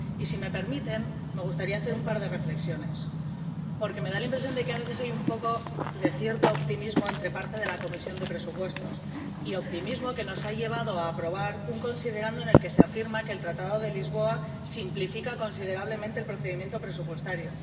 Si me permiten, me gustaría hacer un par de reflexiones, porque me da la impresión de que a veces hay un cierto optimismo entre parte de la Comisión de Presupuestos, optimismo que nos ha llevado a aprobar un considerando en el que se afirma que el Tratado de Lisboa simplifica considerablemente el procedimiento presupuestario.